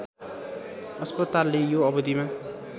अस्पतालले यो अवधिमा